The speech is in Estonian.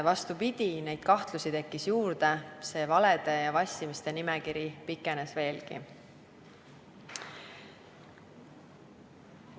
Vastupidi, neid kahtlusi tekkis juurde, valede ja vassimiste nimekiri pikenes veelgi.